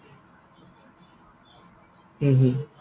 উম হম